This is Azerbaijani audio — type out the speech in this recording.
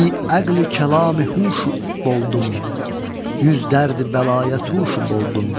Biəqli kəlamı huşu boldum, yüz dərdi bəlaya tuşu boldum.